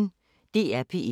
DR P1